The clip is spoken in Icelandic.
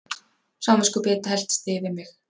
Samviskubit helltist yfir mig.